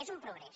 és un progrés